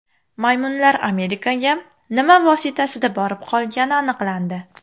Maymunlar Amerikaga nima vositasida borib qolgani aniqlandi.